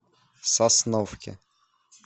сосновке